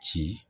Ci